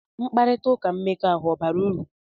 Mkparịta ụka mmekọahụ ọ̀ bara uru?